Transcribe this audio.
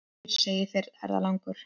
Heyr, segir ferðalangur.